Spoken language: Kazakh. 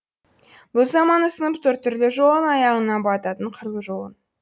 бұл заман ұсынып тұр түрлі жолын аяғыңа бататын қырлы жолын